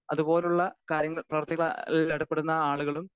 speaker 2 അതു പോലുള്ള കാര്യങ്ങൾ പ്രവൃത്തികളിൽ ഏർപ്പെടുന്ന ആളുകളും